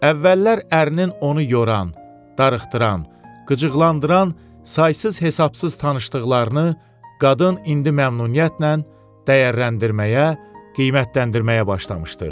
Əvvəllər ərinin onu yoran, darıxdıran, qıcıqlandıran saysız-hesabsız tanışdıqlarını qadın indi məmnuniyyətlə dəyərləndirməyə, qiymətləndirməyə başlamışdı.